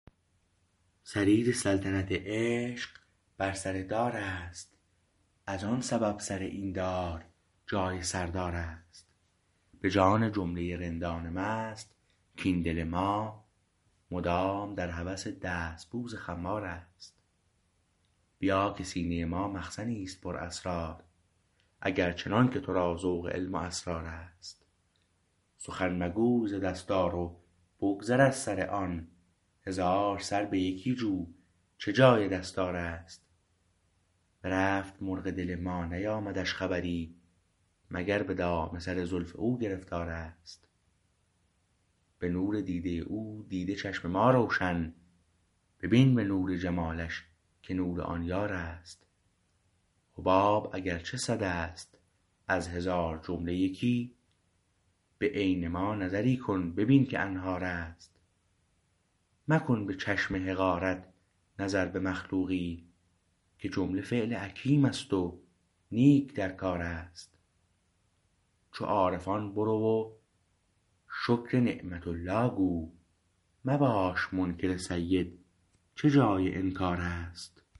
سریر سلطنت عشق بر سر دار است از آن سبب سر این دار جای سردار است به جان جمله رندان مست کاین دل ما مدام در هوس دست بوس خمار است بیا که سینه ما مخزنیست پر اسرار اگر چنانکه تو را ذوق علم و اسرار است سخن مگوی ز دستار و بگذر از سر آن هزار سر به یکی جو چه جای دستار است برفت مرغ دل ما نیامدش خبری مگر به دام سر زلف او گرفتار است به نور دیده او دیده چشم ما روشن ببین به نور جمالش که نور آن یار است حباب اگر چه صداست از هزار جمله یکی به عین ما نظری کن ببین که انهار است مکن به چشم حقارت نظر به مخلوقی که جمله فعل حکیم است و نیک در کار است چو عارفان برو و شکر نعمة الله گو مباش منکر سید چه جای انکار است